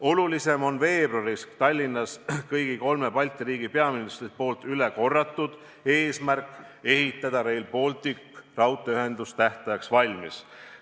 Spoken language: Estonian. Olulisem on veebruaris Tallinnas kõigi kolme Balti riigi peaministrite üle korratud eesmärk ehitada Rail Balticu raudteeühendus tähtajaks valmis.